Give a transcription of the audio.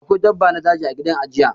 Akwai dabba na daji ã gidan ajiye.